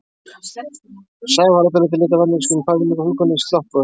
Sævars var að öllu leyti lituð af vitneskjunni um peningafúlguna í sloppvösunum.